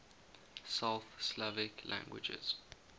south slavic languages